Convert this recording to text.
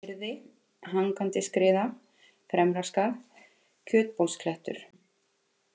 Gyrði, Hangandiskriða, Fremra-Skarð, Kjötbólsklettur